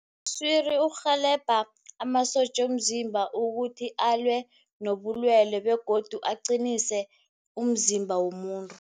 Iswiri iurhelebha amasotja womzimba ukuthi alwe nobulwele begodu aqinise umzimba womuntu.